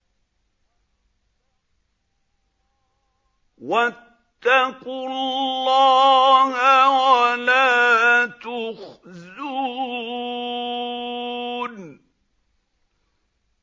وَاتَّقُوا اللَّهَ وَلَا تُخْزُونِ